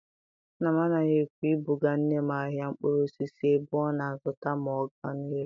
Nna m anaghị ekwe ibuga nne m n'ahịa mkpụrụ osisi ebe ọ na-azụta ma go ọ na-ere.